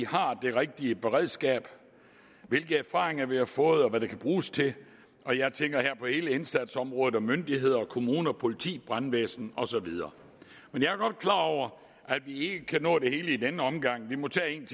har det rigtige beredskab hvilke erfaringer vi har fået og hvad de kan bruges til og jeg tænker her på hele indsatsområdet myndigheder kommuner politi brandvæsen og så videre jeg er godt klar over at vi ikke kan nå det hele i denne omgang vi må tage en